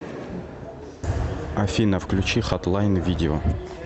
афина включи хатлайн видео